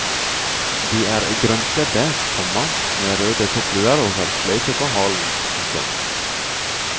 De er grønnkledde, komma med røde toppluer og har sløyfe på halen. punktum